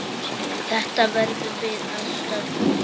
Þetta verðum við að stöðva.